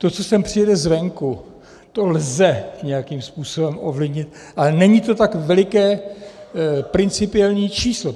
To, co sem přijede zvenku, to lze nějakým způsobem ovlivnit, ale není to tak veliké principiální číslo.